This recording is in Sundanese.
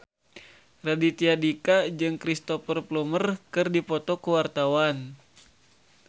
Raditya Dika jeung Cristhoper Plumer keur dipoto ku wartawan